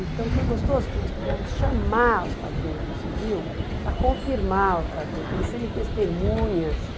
Então foi gostoso porque nós pudemos chamar os padrinhos do civil para confirmar outra vez, para eles serem testemunhas